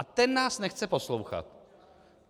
A ten nás nechce poslouchat.